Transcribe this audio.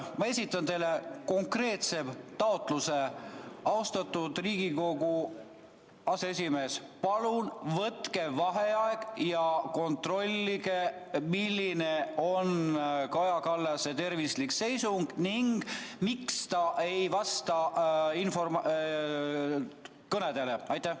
Ma esitan teile konkreetse taotluse: austatud Riigikogu aseesimees, palun võtke vaheaeg ja kontrollige, milline on Kaja Kallase tervislik seisund ning miks ta ei vasta kõnedele!